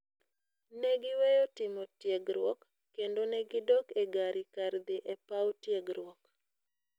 Ne giweyo timo tiegruok, kendo ne gidok e gari kar dhi e paw tiegruok.